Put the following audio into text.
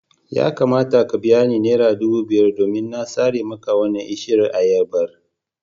Za ka biya ni naira dubu biyar domin na sare maka wannan bishiyar ayabar.